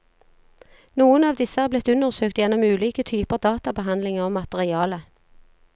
Noen av disse er blitt undersøkt gjennom ulike typer databehandling av materialet.